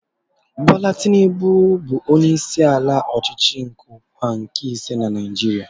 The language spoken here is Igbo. Bola Tinubu bụ onyeisiala ọchịchị onye kwuo uche ya nke ise na Naijiria.